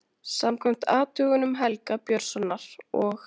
Samkvæmt athugunum Helga Björnssonar og